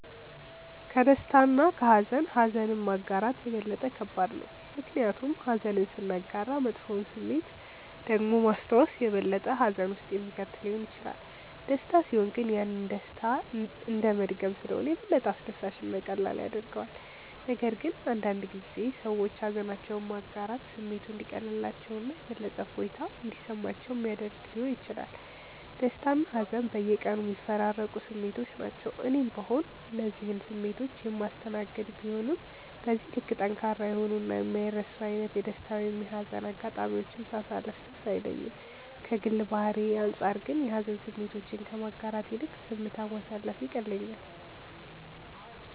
ከደስታ እና ከሃዘን ኀዘንን ማጋራት የበለጠ ከባድ ነው። ምክንያቱም ኀዘንን ስናጋራ መጥፎውን ስሜት ደግሞ ማስታወስ የበለጠ ሀዘን ውስጥ የሚከት ሊሆን ይችላል። ደስታ ሲሆን ግን ያንን ደስታ እንደመድገም ስለሆነ የበለጠ አስደሳች እና ቀላል ያደርገዋል፤ ነገር ግን አንዳንድ ጊዜ ሰዎች ሃዘናቸውን ማጋራት ስሜቱ እንዲቀልላቸው እና የበለጠ እፎይታ እንዲሰማቸው ሚያደረግ ሊሆን ይችላል። ደስታና ሀዘን በየቀኑ የሚፈራረቁ ስሜቶች ናቸው። እኔም ብሆን እነዚህን ስሜቶች የማስተናገድ ቢሆንም በዚህ ልክ ጠንካራ የሆኑ እና የማይረሱ አይነት የደስታ ወይም የሀዘን አጋጣሚዎችን ሳሳለፍ ትዝ አይለኝም። ከግል ባህሪዬ አንጻር ግን የሀዘን ስሜቶችን ከማጋራት ይልቅ ዝምታ ማሳለፍ ይቀለኛል።